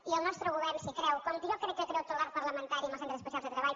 i el nostre govern si hi creu com jo crec que hi creu tot l’arc parlamentari en els centres especials de treball